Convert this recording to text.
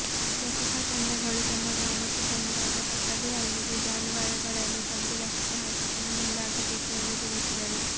ಲಸಿಕಾ ತಂಡಗಳು ತಮ್ಮ ಗ್ರಾಮಕ್ಕೆ ಬಂದಾಗ ತಪ್ಪದೆ ಅಲ್ಲಿಗೆ ಜಾನುವಾರುಗಳನ್ನು ತಂದು ಲಸಿಕೆ ಹಾಕಿಸಲು ಮುಂದಾಗಬೇಕು ಎಂದು ತಿಳಿಸಿದರು